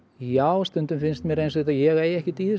já stundum finnst mér ég eiga ekkert i þessu